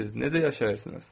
Necə yaşayırsınız?